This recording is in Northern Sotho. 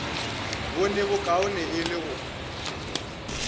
bone bokaone e le go